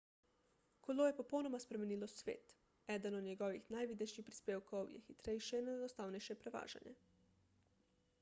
kolo je popolnoma spremenilo svet eden od njegovih najvidnejših prispevkov je hitrejše in enostavnejše prevažanje